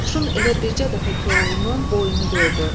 Qoşun elə bircə dəfə Koroğlunun boynu gördü.